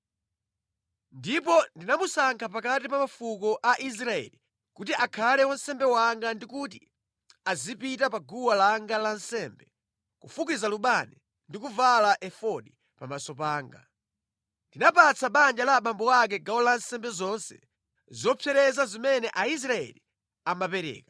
Ndipo ndinamusankha pakati pa mafuko a Israeli kuti akhale wansembe wanga ndi kuti azipita pa guwa langa la nsembe, kufukiza Lubani ndi kuvala efodi pamaso panga. Ndinapatsa banja la abambo ako gawo la nsembe zonse zopsereza zimene Aisraeli amapereka.